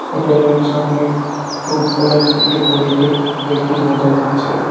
হোটেলের সামনে খুব ওয়েল ডেকোরেটেড দেখেই বোঝা যাচ্ছে.